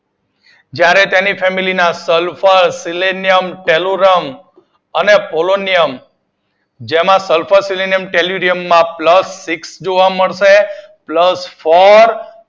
જ્યારે તેની ફેમિલી ના સલ્ફર સીલીનિયમ, કેલુરિયમ અને પોલિનીયમ જેમાં સલ્ફર સીલીનિયમ, કેલુરિયમ માં પ્લસ સિક્સ જોવા મળશે પ્લસ ફોર